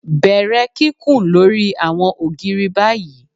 Bẹrẹ kikun lori awọn ògiri bayi